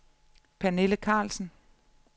Pernille Carlsen